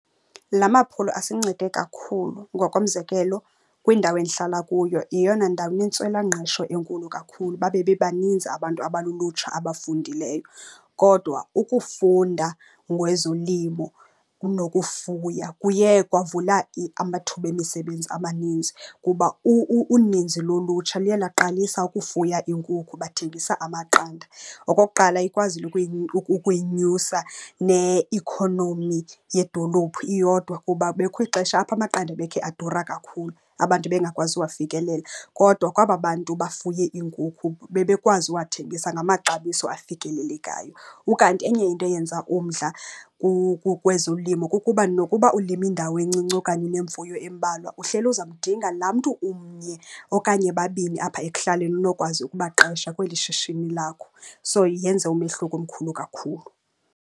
La maphulo asincede kakhulu. Ngokomzekelo kwindawo endihlala kuyo yeyona ndawo inentswelangqesho enkulu kakhulu, babe bebaninzi abantu abalulutsha abafundileyo. Kodwa ukufunda ngezolimo nokufuya kuye kwavula amathuba emisebenzi amaninzi kuba uninzi lolutsha luye laqalisa ukufuya iinkukhu bathengisa amaqanda. Okokuqala ikwazile ukuyinyusa neikhonomi yedolophu iyodwa kuba bekukho ixesha apho amaqanda ebekhe adura kakhulu, abantu bengakwazi uwafikelela. Kodwa kwaba bantu bafuye iinkukhu bebekwazi uwathengisa ngamaxabiso afikelelekayo. Ukanti enye into eyenza umdla kwezolimo kukuba nokuba ulime indawo encinci okanye unemfuyo embalwa, uhleli uza mdinga laa mntu umnye okanye babini apha ekuhlaleni unokwazi ukubaqesha kweli shishini lakho. So yenze umehluko omkhulu kakhulu.